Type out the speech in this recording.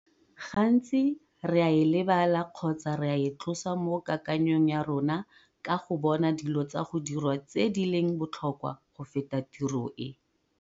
GANTSI RE A E LEBALA KGOTSA RE E TLOSA MO KAKANYONG YA RONA KA GO BONA DILO TSA GO DIRWA TSE DI LENG BOTLHOKWA GO FETA TIRO E!